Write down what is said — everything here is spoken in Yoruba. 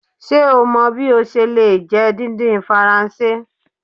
Ṣe o mọ bi o ṣe le jẹ didin Faranse?